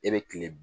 E be kile